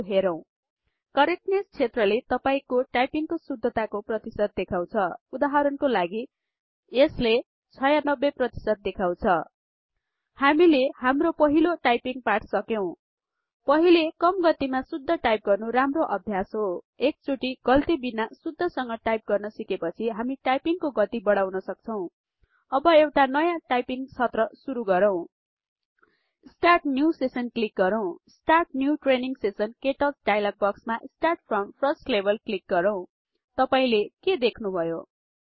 त्यो हेरौं करेक्टनेस क्षेत्र ले तपाई को टाइपिंग को शुद्धता को प्रतिशत देखाउछ उदाहरण को लागि यसले ८० प्रतिशत देखाउछ हामीले हाम्रो पहिलो टाइपिंग पाठ सकेउ पहिले कम गतिमा शुद्ध टाइप गर्नु राम्रो अभ्यास हो एकचोटी गल्ति बिना शुद्ध संग टाइप गर्न सिकेपछि हामी टाइपिंग को गति बढाऊन सक्छौं अब एउटा नयाँ टाइपिंग सत्र सुरु गरौँ स्टार्ट न्यु सेशन क्लिक गरौँ स्टार्ट न्यु ट्रेनिंग सेशन केटच डायलग बक्समा start from first level click गरौँ तपाई ले के देख्नुभयो160